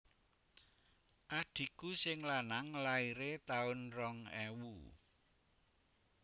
Adhiku sing lanang laire tahun rong ewu